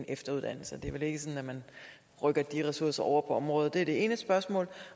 efteruddannelse det er vel ikke sådan at man rykker de ressourcer over på området det er det ene spørgsmål